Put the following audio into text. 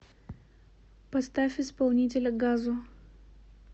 поставь исполнителя газо